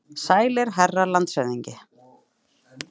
Sælir, herra landshöfðingi.